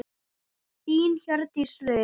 Þín Hjördís Rut.